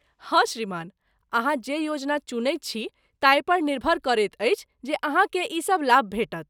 हँ श्रीमान, अहाँ जे योजना चुनैत छी ताहिपर निर्भर करैत अछि जे अहाँकेँ ई सभ लाभ भेटत।